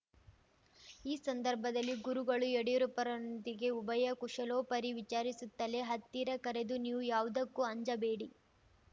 ಈ ಸಂದರ್ಭದಲ್ಲಿ ಗುರುಗಳು ಯಡಿಯೂರಪ್ಪರೊಂದಿಗೆ ಉಭಯಕುಶಲೋಪರಿ ವಿಚಾರಿಸುತ್ತಲೇ ಹತ್ತಿರ ಕರೆದು ನೀವು ಯಾವುದಕ್ಕೂ ಅಂಜಬೇಡಿ